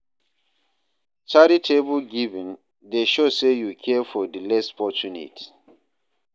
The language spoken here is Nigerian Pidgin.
Charitable giving dey show say yu care for di less fortunate.